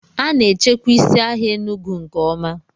A na-echekwa isi ahịa Enugu nke ọma